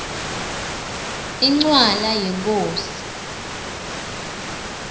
incwala yenkhosi